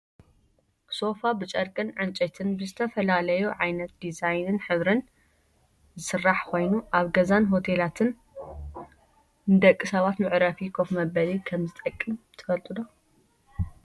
ሶፋ ብጨርቅን ዕንፀይትን ብዝተፈላለዩ ዓይነት ዲዛይን ሕብርን ዝስራሕ ኮይኑ፣ ኣብ ገዛን ሆቴላትን ንደቂ ሰባት መዕረፊ ኮፍ መበሊ ከምዝጠቅም ትፈልጡ ዶ?